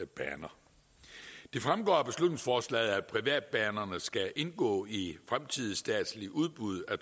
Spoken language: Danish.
baner det fremgår af beslutningsforslaget at privatbanerne skal indgå i fremtidige statslige udbud af